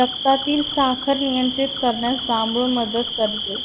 रक्तातील साखर नियंत्रित करण्यास जांभूळ मदत करते